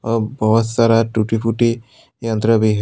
अ बहुत सारा टूटी फूटी यन्त्र भी है।